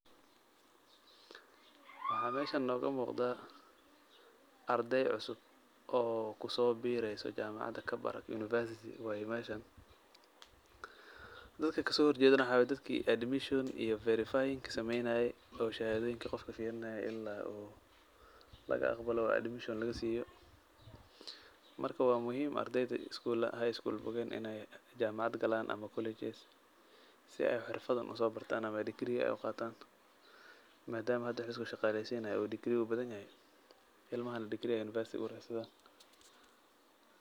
Waxaa meesha noogu muqda arday cusub oo kusoobiiraysa jaamacad. Kabarak University waay meeshan. Dadka ka soo horjeedana waxaa waay dadkii admission iyo verifying sameeynaayey oo shahaadooyinka qofka fiirinaayey in la uu laga aqbalo oo admission lagasiiyo. Marka, waa muhiim ardeyda skuulada high school bogeen in aay jamacad galaan ama colleges si ay xirfada usoobartaan ama degree ay qaataan maadama hada waxa la iskushaqaaleysiinaya uu degree u badanyahay, ilmahana degree university ugu raadsadaan.